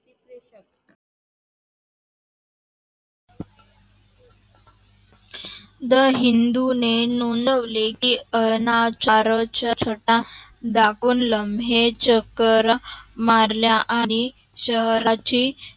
the Hindu ने नोंदवले की अं अनाच्यारच्या छटा दाखून लम्हे चकरा मारल्या आणि शहराची